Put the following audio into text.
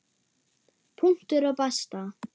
Punktur og basta.